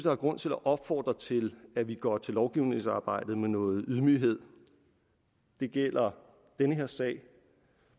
er grund til at opfordre til at vi går til lovgivningsarbejdet med noget ydmyghed det gælder den her sag